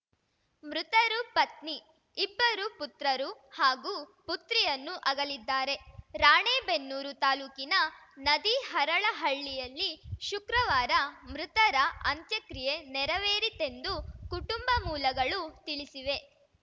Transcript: ಮೃತರು ಪತ್ನಿ ಇಬ್ಬರು ಪುತ್ರರು ಹಾಗೂ ಪುತ್ರಿಯನ್ನು ಆಗಲಿದ್ದಾರೆ ರಾಣೆಬೆನ್ನೂರು ತಾಲೂಕಿನ ನದಿಹರಳಹಳ್ಳಿಯಲ್ಲಿ ಶುಕ್ರವಾರ ಮೃತರ ಅಂತ್ಯಕ್ರಿಯೆ ನೆರವೇರಿತೆಂದು ಕುಟುಂಬ ಮೂಲಗಳು ತಿಳಿಸಿವೆ